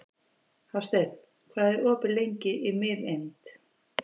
Hásteinn, hvað er opið lengi í Miðeind?